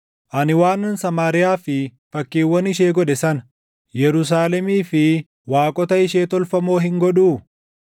ani waanan Samaariyaa fi fakkiiwwan ishee godhe sana Yerusaalemii fi waaqota ishee tolfamoo hin godhuu?’ ”